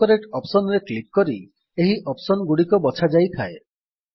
autocorrect Optionsରେ click କରି ଏହି ଅପ୍ସନ୍ ଗୁଡିକ ବଛାଯାଇଥାଏ